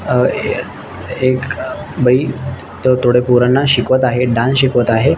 अ ऐ ए क अ बाई थो थोड पोराना शिकवत आहे डान्स शिकवत आहे.